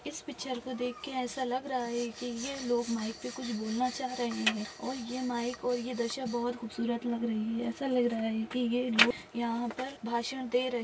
इस पिक्चर को देख कर ऐसा लग रहा है की ये लोग माइक पे कुछ बोलना चाह रहे है और ए माइक और ए दृश्य बहुत खूबसूरत लग रही है ऐसा लग रहा है की ए लोग यहा पर भाषण दे रहे--